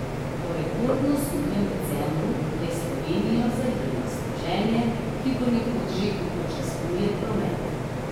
Po rekordno suhem decembru je Slovenijo zajelo sneženje, ki ponekod že upočasnjuje promet.